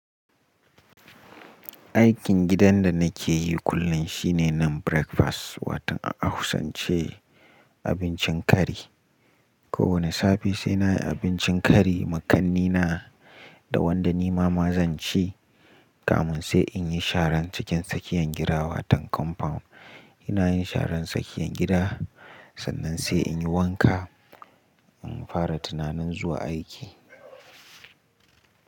Aikin gidan da na ke yi kullum shine nan breakfast, watan a ahausance abincin kari. Ko wane safe sai na yi abincin kari, ma kanne na da wanda ni mama zan ci. Kamun sai in yi sharan cikin sakiyan gida watan compound. Ina yin sharan sakiyan gida, sannan sai in yi wanka, in fara tunanin zuwa aiki.